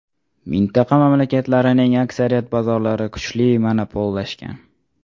Mintaqa mamlakatlarining aksariyat bozorlari kuchli monopollashgan.